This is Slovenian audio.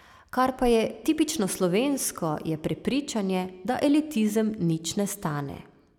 Kar pa je tipično slovensko, je prepričanje, da elitizem nič ne stane.